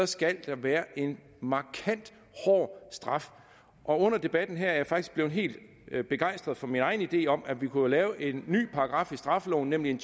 skal der være en markant hård straf og under debatten her er jeg faktisk blevet helt begejstret for min egen idé om at vi jo kunne lave en ny paragraf i straffeloven nemlig en